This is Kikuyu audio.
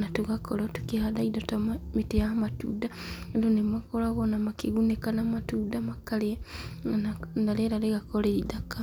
na tũgakorwo tũkĩhanda indo ta mĩtĩ ya matunda, andũ nĩmakoragwo ona makĩgunĩka na matunda makarĩa, na rĩera rĩgakorwo rĩithaka.